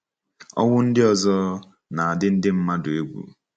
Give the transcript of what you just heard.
Ọnwụ ndị ọzọ, na adị ndị mmadụ egwu.